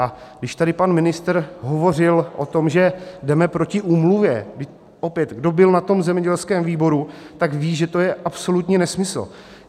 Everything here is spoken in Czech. A když tady pan ministr hovořil o tom, že jdeme proti úmluvě: opět kdo byl na tom zemědělském výboru, tak ví, že to je absolutní nesmysl.